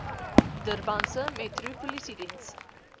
durbanse metro polisiediens